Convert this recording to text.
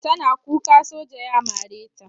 Tana kuka soja ya mare ta.